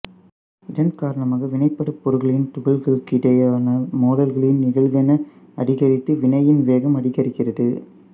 இதன் காரணமாக வினைபடுபொருள்களின் துகள்களுக்கிடையேயான மோதல்களின் நிகழ்வெண் அதிகரித்து வினையின் வேகம் அதிகரிக்கிறது